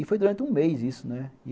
E foi durante um mês isso, né?